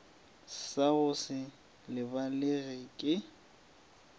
sa go se lebalege ke